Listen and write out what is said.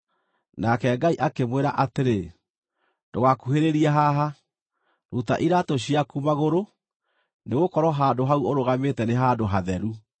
Nake Ngai akĩmwĩra atĩrĩ, “Ndũgakuhĩrĩrie haha. Ruta iraatũ ciaku magũrũ, nĩgũkorwo handũ hau ũrũgamĩte nĩ handũ hatheru.”